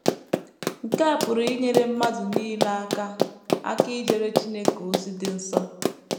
Nke a pụrụ inyere mmadụ nile aka aka ijere Chineke ozi dị nsọ.